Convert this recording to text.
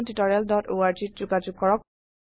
অংশগ্ৰহনৰ বাবে ধন্যবাদ